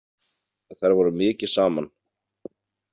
En þær voru mikið saman.